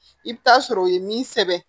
I bɛ taa sɔrɔ o ye min sɛbɛn